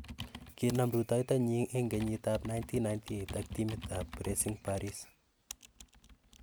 Kinam rutoito nyin eng kenyit ab 1998, ak timit ab Racing Paris.